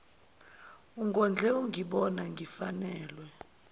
ungondle ungibona ngifanelwe